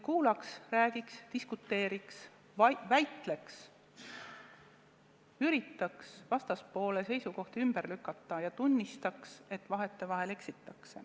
Kuulaks, räägiks, diskuteeriks, väitleks, üritaks vastaspoole seisukohti argumentidega ümber lükata ja tunnistaks, et vahetevahel on eksitud.